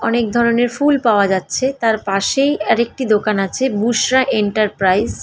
অনেক ধরণের ফুল পাওয়া যাচ্ছে। তার পাশেই আর একটি দোকান আছে গুশরা এন্টার প্রাইজ ।